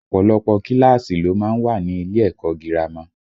Ọ̀pọ̀lọpọ̀ kíláàsì ló má ń wà ní ilé ẹ̀kọ́ girama